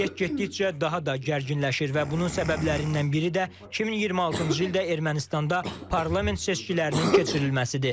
Vəziyyət getdikcə daha da gərginləşir və bunun səbəblərindən biri də 2026-cı ildə Ermənistanda parlament seçkilərinin keçirilməsidir.